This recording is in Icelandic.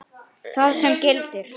þar sem gildir